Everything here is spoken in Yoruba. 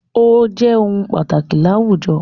Ó jẹ́ ohun pàtàkì láwùjọ.